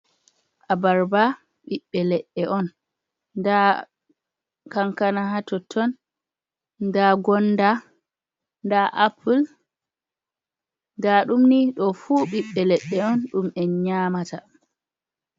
Abarba ɓiɓbe leɗɗe on, nda kankana ha totton, nda gonda, nda apul, nda ɗumni ɗoo fu ɓiɓɓe leɗɗe on ɗum en nyaamata.